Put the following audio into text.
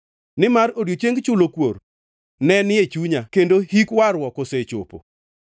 Nimar odiechieng chulo kuor ne ni e chunya kendo hik warruok osechopo.